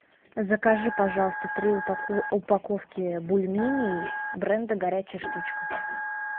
закажи пожалуйста три упаковки бульменей бренда горячая штучка